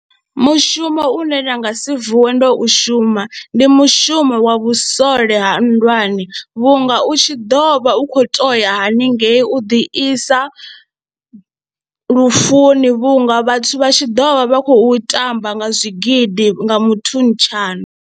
Mushumo une nda nga si vuwe ndo u shuma ndi mushumo wa vhusole ha nndwani vhunga u tshi ḓo vha u khou tou ya haningei u ḓi isa lufuni vhunga vhathu vha tshi ḓo vha vha khou tamba nga zwigidi nga muthutshano.